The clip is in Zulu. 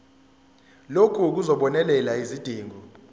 lokhu kuzobonelela izidingo